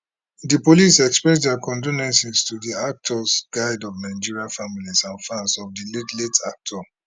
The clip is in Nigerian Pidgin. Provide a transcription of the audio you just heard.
di police express dia condolence to di actors guild of nigeria families and fans of di late late actor